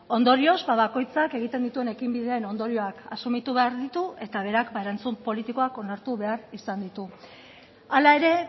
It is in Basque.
ondorioz bakoitzak egiten dituen ekinbideen ondorioak asumitu behar ditu eta berak erantzun politikoak onartu behar izan ditu hala ere